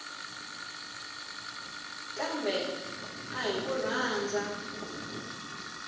kambe a hi ku rhandza